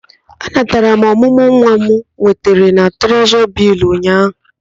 Anatara m ọmụmụ nwa m nwetara na Trezọrị Bịlls ụnyaahụ.